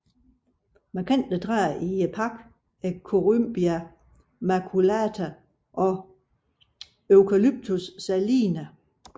Markante træer i parken er Corymbia maculata og Eucalyptus saligna